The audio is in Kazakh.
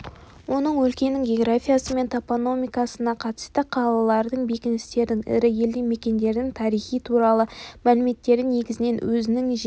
оның өлкенің географиясы мен топономикасына қатысты қалалардың бекіністердің ірі елді мекендердің тарихы туралы мәліметтері негізінен өзінің жеке